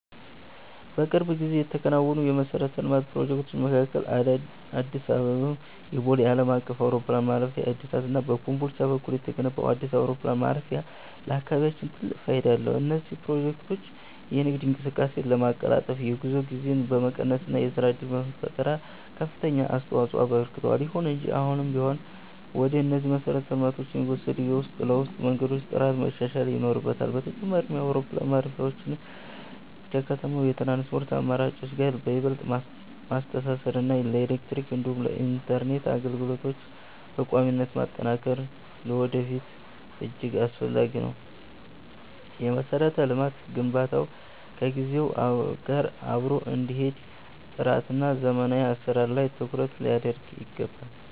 በቅርብ ጊዜ ከተከናወኑ የመሠረተ ልማት ፕሮጀክቶች መካከል የአዲስ አበባው የቦሌ ዓለም አቀፍ አውሮፕላን ማረፊያ እድሳት እና በኮምቦልቻ በኩል የተገነባው አዲስ አውሮፕላን ማረፊያ ለአካባቢያችን ትልቅ ፋይዳ አላቸው። እነዚህ ፕሮጀክቶች የንግድ እንቅስቃሴን በማቀላጠፍ፣ የጉዞ ጊዜን በመቀነስ እና ለሥራ ዕድል ፈጠራ ከፍተኛ አስተዋፅኦ አበርክተዋል። ይሁን እንጂ አሁንም ቢሆን ወደ እነዚህ መሰረተ ልማቶች የሚወስዱ የውስጥ ለውስጥ መንገዶች ጥራት መሻሻል ይኖርበታል። በተጨማሪም፣ አውሮፕላን ማረፊያዎቹን ከከተማው የትራንስፖርት አማራጮች ጋር ይበልጥ ማስተሳሰር እና የኤሌክትሪክ እንዲሁም የኢንተርኔት አገልግሎቶችን በቋሚነት ማጠናከር ለወደፊቱ እጅግ አስፈላጊ ነው። የመሠረተ ልማት ግንባታው ከጊዜው ጋር አብሮ እንዲሄድ ጥራትና ዘመናዊ አሠራር ላይ ትኩረት ሊደረግ ይገባል።